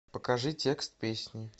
покажи текст песни